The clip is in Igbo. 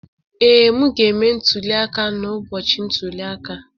Ee, m ga-eme ntuli aka n'ụbọchị ntuli aka.